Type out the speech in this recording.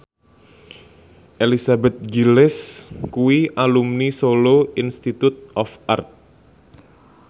Elizabeth Gillies kuwi alumni Solo Institute of Art